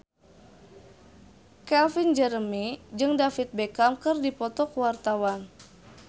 Calvin Jeremy jeung David Beckham keur dipoto ku wartawan